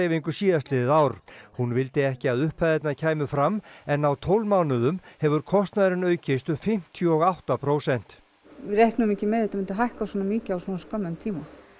rafmagnsdreifingu síðastliðið ár hún vildi ekki að upphæðirnar kæmu fram en á tólf mánuðum hefur kostnaðurinn aukist um fimmtíu og átta prósent við reiknuðum ekki með að þetta myndi hækka svona mikið á svo skömmum tíma